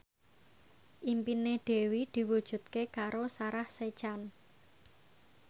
impine Dewi diwujudke karo Sarah Sechan